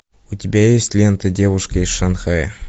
у тебя есть лента девушка из шанхая